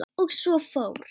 Og svo fór.